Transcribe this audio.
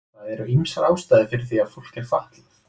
það eru ýmsar ástæður fyrir því að fólk er fatlað